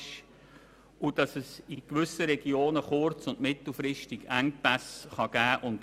In gewissen Regionen kann beziehungsweise wird es kurz- und mittelfristig zu Engpässen kommen.